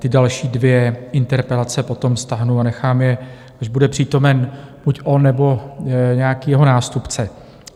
Ty další dvě interpelace potom stáhnu a nechám je, když bude přítomen buď on, nebo nějaký jeho nástupce.